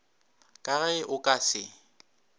ka ge o ka se